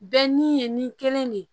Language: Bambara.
Bɛɛ ni ye ni kelen de ye